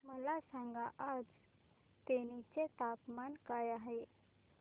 मला सांगा आज तेनी चे तापमान काय आहे